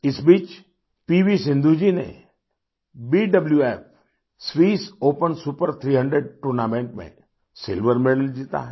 इस बीच पीवीसिन्धु जी ने BWF Swiss Open Super 300 tournament में सिल्वर मेडल जीता है